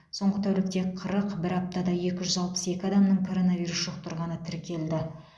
соңғы тәулікте қырық бір аптада екі жүз алпыс екі адамның коронавирус жұқтырғаны тіркелді